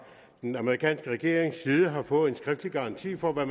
den amerikanske regerings side har fået en skriftlig garanti for hvad